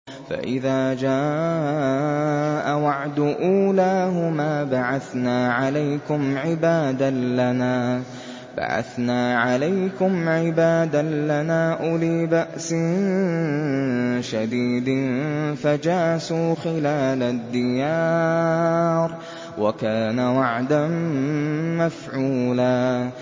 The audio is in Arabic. فَإِذَا جَاءَ وَعْدُ أُولَاهُمَا بَعَثْنَا عَلَيْكُمْ عِبَادًا لَّنَا أُولِي بَأْسٍ شَدِيدٍ فَجَاسُوا خِلَالَ الدِّيَارِ ۚ وَكَانَ وَعْدًا مَّفْعُولًا